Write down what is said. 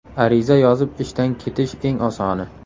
Ariza yozib ishdan ketish eng osoni.